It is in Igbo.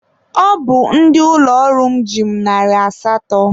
Ọ bụ ndị ụlọ ọrụ m ji mụ narị asatọ.